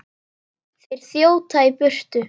Þeir þjóta í burtu.